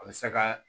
A bɛ se ka